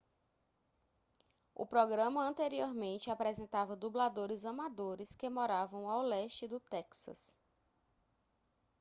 o programa anteriormente apresentava dubladores amadores que moravam ao leste do texas